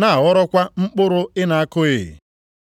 na-aghọrọkwa mkpụrụ ị na-akụghị.’